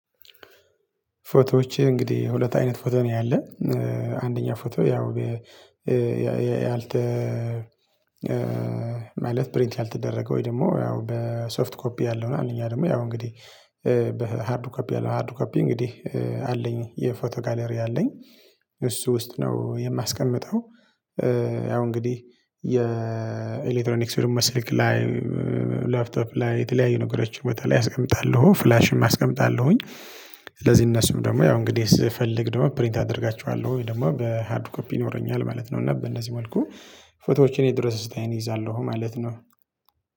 ፎቶዎቸ እንግዲህ ሁለት አይነት ፎቶ ነው። ያለው አንደኛ ፎቶ ያው ያልተ ማለት ፕሪንት ያልተደረገ ወይ ደግሞ ያው በሶፍት ኮፒ ያለው እና እኛ ደግሞ ያው እንግዲህ በሃርድ ኮፒ ያለው ሃርድ ኮፒ እንግዲህ አለኝ የፎቶ ጋለሪ አለኝ እሱ ውስጥ ነው የማስቀምጠው። ያው እንግዲህ የኤሌክትሮኒክስ ወይ ስልክ ላይ ላፕቶፕ ላይ የተለያዩ ነገሮች በተለይ አስቀምጣለሁ ፍላሽም አስቀምጣለሁኝ። ለዚህን እነሱም ደግሞ ያው እንግዲህ ስፈልግ ደግሞ ፕሪንት አደርጋቸዋለሁ ወይ ደግሞ በሃርድ ኮፒ ይኖረኛል ማለት ነው። እና በእነዚህ መልኩ ፎቶዎችን እየድረስ እይዛለሁ ማለት ነው።